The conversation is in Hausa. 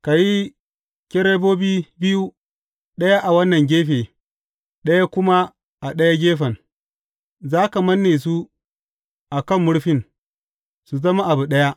Ka yi kerubobi biyu, ɗaya a wannan gefe, ɗaya kuma a ɗayan gefen; za ka manne su a kan murfin, su zama abu ɗaya.